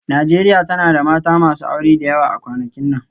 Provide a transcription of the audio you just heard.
Najeriya tana da mata masu aure da yawa a kwanakin nan